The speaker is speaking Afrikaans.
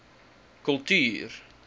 kultuur